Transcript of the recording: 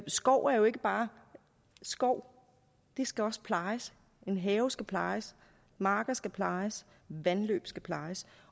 skov er jo ikke bare skov den skal også plejes haver skal plejes marker skal plejes vandløb skal plejes